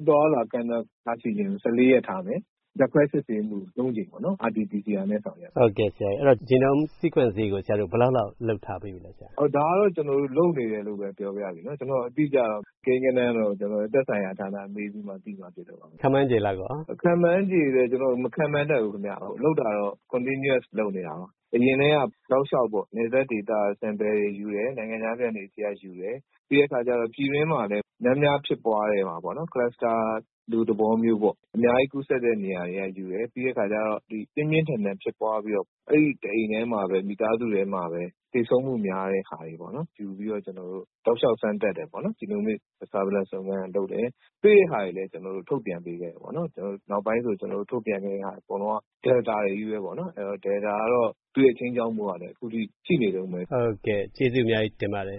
အသွားအလာ ကန့်သတ်ထားရှိခြင်းကို ၁၄ ရက် ထားမယ်၊ ဓာတ်ခွဲစစ်ဆေးမှုကို ၃ ကြိမ် RT PCR နဲ့ ဆောင်ရွက်မယ်။” Genome Sequencing ကို ဆရာတို့ ဘယ်လောက်လောက် လုပ်ထားပေးလဲ။ “ဒါကတော့ ကျနော်တို့ လုပ်နေတယ်လို့ပဲ ပြောပါရစေ။ အတိအကျ ကိန်းဂဏန်းတော့ သက်ဆိုင်ရာဌာန မေးပြီးမှ သိမှာဖြစ်လို့ပါ။” ခန့်မှန်းချေလောက်ရော။ “ခန့်မှန်းချေလည်း ကျနော် မခန့်မှန်းတတ်ဘူး။ လုပ်တာတော့ Continuous လုပ်နေတာပါ။ အရင်တည်းက တောက်လျှောက် နယ်စပ်ဒေသမှာ Sample တွေယူတယ်၊ နိုင်ငံခြားပြန်တွေဆီက ယူတယ်၊ ပြီးတော့ ပြည်တွင်းမှာလည်း များများဖြစ်ပွားတဲ့ဟာပေါ့၊ Cluster လိုသဘောမျိုး အများကြီး ကူးစက်တဲ့ နေရာတွေက ယူတယ်၊ ပြီးတော့ ပြင်းပြင်းထန်ထန် ဖြစ်ပွားပြီးတော့ အဲဒီတအိမ်တည်းမှာပဲ မိသားစုထဲမှာပဲ သေဆုံးမှုများတဲ့ဟာတွေပေါ့၊ ယူပြီးတော့ ကျနော်တု့ိ တောက်လျှောက် စမ်းသပ်တယ်။ Genomic Surveillance စုံစမ်းတာလုပ်တယ်၊ တွေ့တဲ့ဟာတွေလည်း ကျနော်တို့ ထုတ်ပြန်ပေးခဲ့တယ်။ နောက်ပိုင်းဆို ကျနော်တို့ထုတ်ပြန်တဲ့ဟာ အကုန်လုံးက Delta တွေချည်းပဲပေါ့။ အဲတော့ Delta ကတော့ သူ့ရဲ့ ခြိမ်းခြောက်မှုက အခုထိ ရှိနေတုန်းပဲ။” ဟုတ်ကဲ့၊ ကျေးဇူးအများကြီးတင်ပါတယ်